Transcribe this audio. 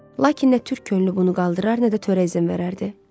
Lakin nə türk könlü bunu qaldırar, nə də törə izin verərdi.